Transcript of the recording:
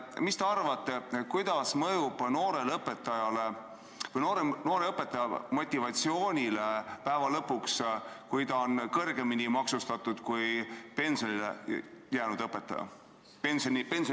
Mis te arvate, kuidas mõjub noore õpetaja motivatsioonile lõpuks see, kui ta on kõrgemini maksustatud kui pensioniikka jõudnud õpetaja?